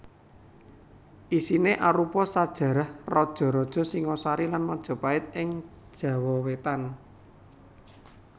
Isiné arupa sajarah raja raja Singasari lan Majapahit ing Jawa Wétan